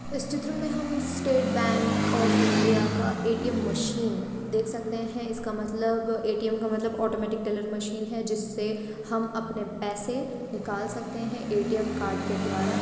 इस चित्र में हम स्टेट बैंक ऑफ़ इंडिया का ए_टी_एम मशीन देख सकते है इसका मतलब ए_टी_एम का मतलब ऑटोमैटिक टेलर मशीन है जिससे हम अपने पैसे निकाल सकते है ए_टी_एम कार्ड के द्वारा--